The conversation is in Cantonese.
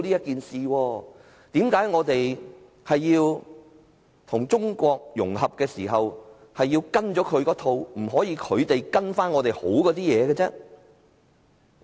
為何我們與中國融合時要跟從它的一套，而不可以是它跟從我們良好的做法？